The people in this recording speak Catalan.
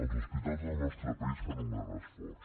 els hospitals del nostre país fan un gran esforç